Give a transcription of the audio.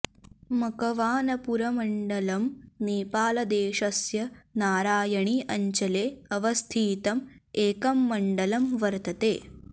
मकवानपुरमण्डलम् नेपालदेशस्य नारायणी अञ्चले अवस्थितं एकं मण्डलं वर्तते